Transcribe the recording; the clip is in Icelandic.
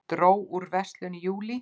Dró úr verslun í júlí